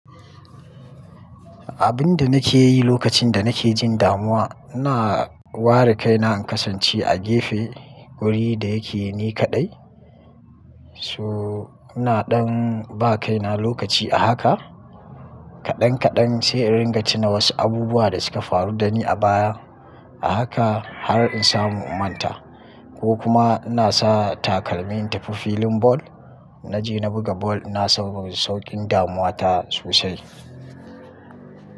Abun da nake yi lokacin da nake jin damuwa, ina ware kaina in kasance a gefe wuri da yake ni kaɗai. To ina ɗan ba kaina lokaci a haka kaɗan kaɗan sai in ringa tuna wasu abubuwa da suka faru da ni a baya. A haka har in samu in manta ko kuma ina sa takalmi in tafi filin ball. Na je na buga ball ina son saukin damuwa ta sosai.